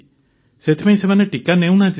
ସେଥିପାଇଁ ସେମାନେ ଟିକା ନେଉନାହାନ୍ତି